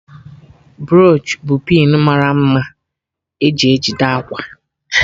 Broochu bụ pịn mara mma e ji ejide akwa